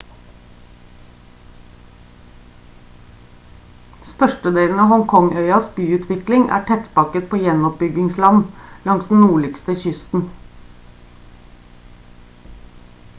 størstedelen av hong kong-øyas byutvikling er tettpakket på gjenoppbyggingsland langs den nordlige kysten